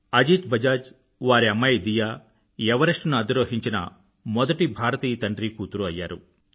అజీత్ బజాజ్ వారి అమ్మాయి దియా ఎవరెస్టుని అధిరోహించిన మొదటి భారతీయ తండ్రీకూతురు అయ్యారు